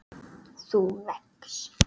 þú vex.